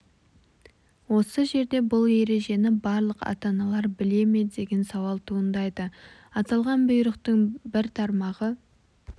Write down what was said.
осы жерде бұл ережені барлық ата-аналар біле ме деген сауал туындайды аталған бұйрықтың бір тармағы